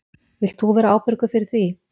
Vilt þú vera ábyrgur fyrir því?